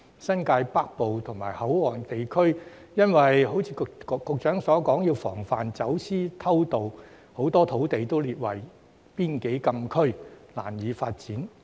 新界北部及口岸地區，正如局長所說要防範走私偷渡，很多土地都列為邊境禁區，難以發展。